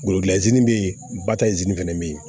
Golozi be yen ba ta fɛnɛ be yen